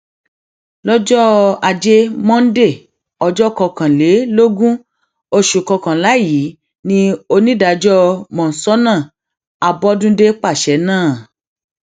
lọjọ ajé monde ọjọ kọkànlélógún oṣù kọkànlá yìí ni onídàájọ monsónà àbọdúndé pàṣẹ náà